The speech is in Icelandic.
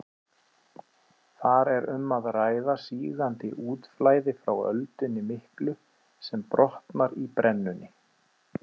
Þar er um að ræða sígandi útflæði frá öldunni miklu sem brotnar í brennunni.